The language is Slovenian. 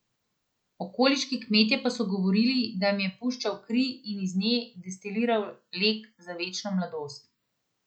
Okoliški kmetje pa so govorili, da jim je puščal kri in iz nje destiliral lek za večno mladost.